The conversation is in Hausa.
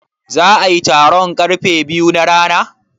Za'a yi taron karfe biyu na rana?